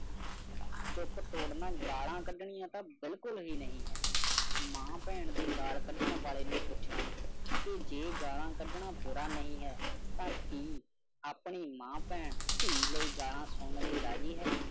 ਚੁੱਪ ਤੋੜਨਾ ਗਾਲ੍ਹਾਂ ਕੱਢਣੀਆਂ ਤਾ ਬਿਲਕੁਲ ਹੀ ਨਹੀਂ ਹੈ। ਮਾਂ ਪੈਣ ਦੀ ਗਾਲ ਕਢਣ ਵਾਲੇ ਨੂੰ ਪੁਛਾ ਕਿ ਜੇ ਗਾਲ੍ਹਾਂ ਕੱਢਣਾ ਬੁਰਾ ਨਹੀਂ ਹੈ ਤਾ ਕਿ ਆਪਣੀ ਮਾਂ ਪੈਣ ਥੀ ਲਯੀ ਗਾਲ੍ਹਾਂ ਸੁਨਣ ਲਈ ਰਾਜ਼ੀ ਹੈ।